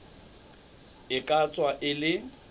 e ka tswa e le